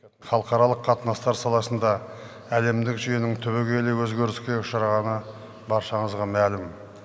халықаралық қатынастар саласында әлемдік жүйенің түбегейлі өзгеріске ұшырағаны баршаңызға мәлім